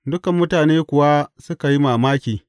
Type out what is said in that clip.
Dukan mutane kuwa suka yi mamaki.